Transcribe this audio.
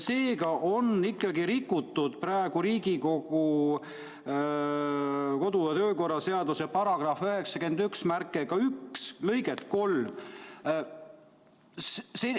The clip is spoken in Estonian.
Seega on praegu ikkagi rikutud Riigikogu kodu- ja töökorra seaduse § 891 lõiget 3.